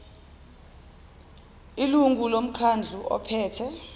ilungu lomkhandlu ophethe